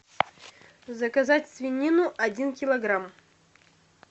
заказать свинину один килограмм